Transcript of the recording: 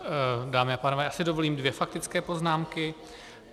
Dámy a pánové, já si dovolím dvě faktické poznámky.